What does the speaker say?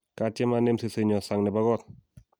katiem anem sesenyo sang nebo kot